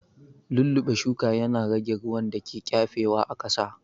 Lulluɓe shuka ya na rage ruwan da ke ƙafe wa a ƙasa